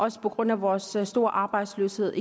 også på grund af vores store arbejdsløshed